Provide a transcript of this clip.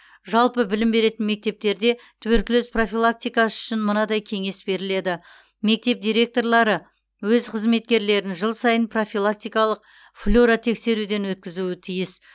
жалпы білім беретін мектептерде туберкулез профилактикасы үшін мынадай кеңес беріледі мектеп директорлары өз қызметкерлерін жыл сайын профилактикалық флюоротексеруден өткізуі тиіс